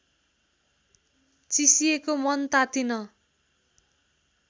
चिसिएको मन तातिन